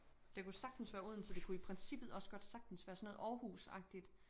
Det kunne sagtens være Odense det kunne i princippet også godt sagtens være sådan noget Aarhusagtigt